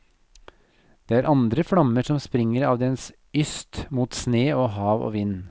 Det er andre flammer som springer av dens yst mot sne og hav og vind.